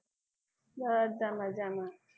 બધા મજામાં.